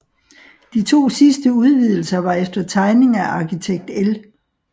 De to sidste udvidelser var efter tegning af arkitekt L